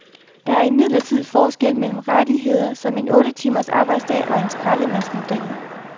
Der er imidlertidig forskel mellem rettigheder som en otte timers arbejdsdag og så skraldemandsmodellen.